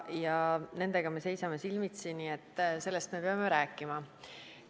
Ja nendega me seisame silmitsi, nii et sellest me peame rääkima.